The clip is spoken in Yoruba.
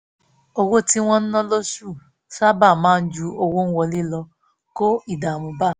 owó tí wọ́n ná lósù sábà máa ń ju owó wọlé lọ kó ìdààmú bá a